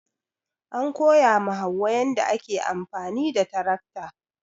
An koya ma hauwa yadda ake amfani da tarakta.